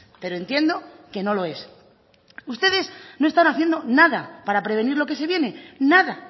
pero entiendo que no lo es ustedes no están haciendo nada para prevenir lo que se viene nada